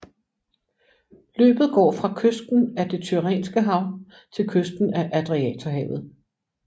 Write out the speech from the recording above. Løbet går fra kysten af det Tyrrhenske hav til kysten af Adriaterhavet